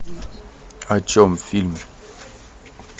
о чем фильм